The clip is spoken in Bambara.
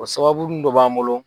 O sababunin dɔ b'an bolo.